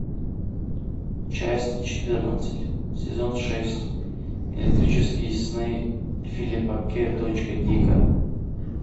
часть четырнадцать сезон шесть электрические сны филипа к точка дика